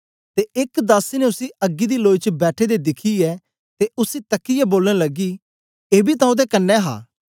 ते एक दासी ने उसी अग्गी दी लोई च बैठे दे दिखियै ते उसी तकीयै बोलन लगी एबी तां ओदे कन्ने हा